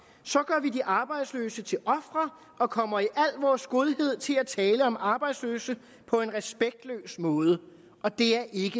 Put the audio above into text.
gør vi de arbejdsløse til ofre og kommer i al vores godhed til at tale om arbejdsløse på en respektløs måde og det er ikke